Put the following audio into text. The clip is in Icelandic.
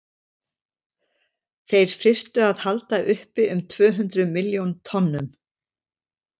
þeir þyrftu að halda uppi um tvö hundruð milljón tonnum